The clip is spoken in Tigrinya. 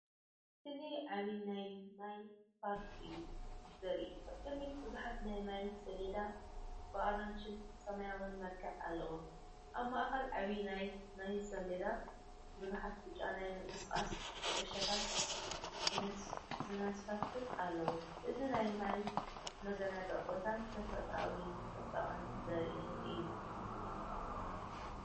እዚ ዓቢ ናይ ማይ ፓርክ እዩ ዘርኢ። ኣብ ቅድሚት ብዙሓት ናይ ማይ ስላይድ ብኣራንሺን ሰማያውን መልክዕ ኣለዉ። ኣብ ማእከል ዓቢ ናይ ማይስላይድን ብዙሓት ብጫ ናይ ምንቅስቓስ ኩዕሶታት ዝንሳፈፋን ኣለዋ። እዚ ናይ ማይ መዘናግዒ ቦታን ተፈጥሮኣዊ ጽባቐን ዘርኢ እዩ።